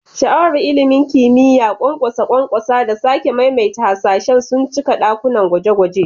Sha'awar ilimin kimiyya, ƙwanƙwasa ƙwanƙwasa, da sake maimaita hasashe sun cika dakunan gwaje-gwaje.